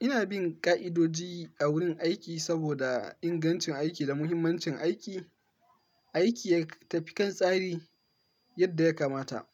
Ina bin ƙa'idoji a wurin aiki saboda ingancin aiki da muhimmancin aiki. Aiki ya tafi kan tsari yadda ya kamata.